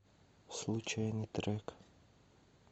случайный трек